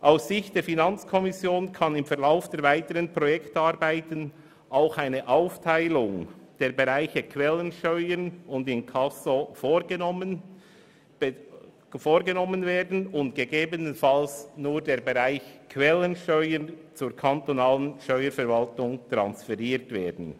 Aus Sicht der FiKo kann im Verlauf der weiteren Projektarbeiten auch eine Aufteilung der Bereiche Quellensteuern und Inkasso vorgenommen und allenfalls nur der Bereich Quellensteuer zur kantonalen Steuerverwaltung transferiert werden.